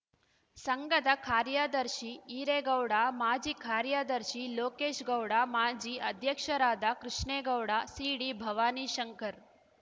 ಸಂಘದ ಕಾರ್ಯದರ್ಶಿ ಈರೇಗೌಡ ಮಾಜಿ ಕಾರ್ಯದರ್ಶಿ ಲೋಕೇಶ್‌ಗೌಡ ಮಾಜಿ ಅಧ್ಯಕ್ಷರಾದ ಕೃಷ್ಣೇಗೌಡ ಸಿಡಿ ಭವಾನಿ ಶಂಕರ್‌